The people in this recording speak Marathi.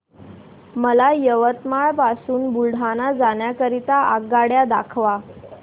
मला यवतमाळ पासून बुलढाणा जाण्या करीता आगगाड्या दाखवा